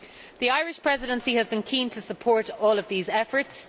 The Irish Presidency has been keen to support all of these efforts.